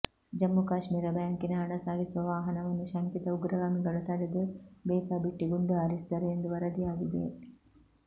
ಜಮ್ಮು ಕಾಶ್ಮೀರ ಬ್ಯಾಂಕಿನ ಹಣ ಸಾಗಿಸುವ ವಾಹನವನ್ನು ಶಂಕಿತ ಉಗ್ರಗಾಮಿಗಳು ತಡೆದು ಬೇಕಾಬಿಟ್ಟಿ ಗುಂಡು ಹಾರಿಸಿದರು ಎಂದು ವರದಿಯಾಗಿದೆ